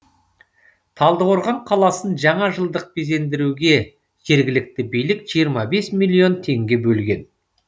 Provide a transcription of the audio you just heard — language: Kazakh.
талдықорған қаласын жаңа жылдық безендіруге жергілікті билік жиырма бес миллион теңге бөлген